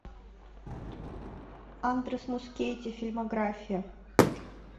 андрес мускетти фильмография